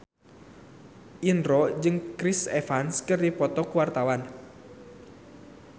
Indro jeung Chris Evans keur dipoto ku wartawan